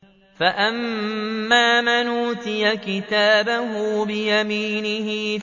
فَأَمَّا مَنْ أُوتِيَ كِتَابَهُ بِيَمِينِهِ